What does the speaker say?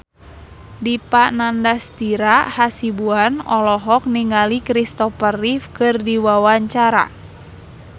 Dipa Nandastyra Hasibuan olohok ningali Kristopher Reeve keur diwawancara